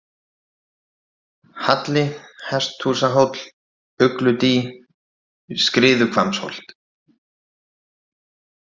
Halli, Hesthúsahóll, Ugludý, Skriðuhvammsholt